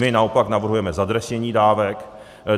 My naopak navrhujeme zadresnění dávek.